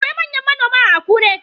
Akwai manyan manoma a Akure